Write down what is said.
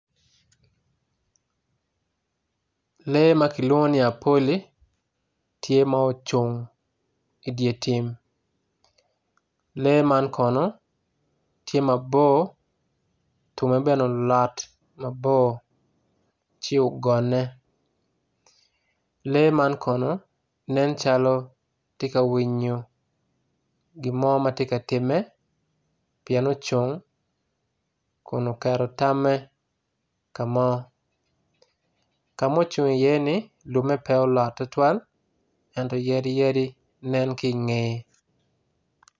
Lee makilwongo ni apoli tye ma ocung idyer tim lee man kono tye mabor tunge bene olot ci ogone lee man kono nen calo tye ka winyo gimo matye ka time pien ocung kun oketo tame kamo kama ocung iye ni lumme pe olot tutwal ento yadi yadi nen kinge.